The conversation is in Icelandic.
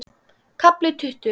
KAFLI TUTTUGU